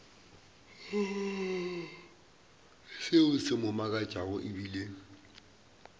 seo se mo makatšago ebile